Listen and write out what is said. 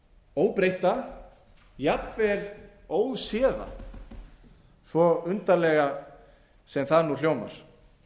óbreytta jafnvel óséða svo undarlega sem það nú hljómar